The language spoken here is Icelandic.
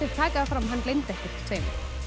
taka það fram að hann gleymdi ekkert tveimur